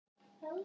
Einar Eyland.